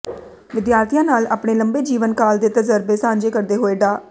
ਵਿਦਿਆਰਥੀਆਂ ਨਾਲ ਆਪਣੇ ਲੰਬੇ ਜੀਵਨ ਕਾਲ ਦੇ ਤਜ਼ਰਬੇ ਸਾਂਝੇ ਕਰਦੇ ਹੋੋਏ ਡਾ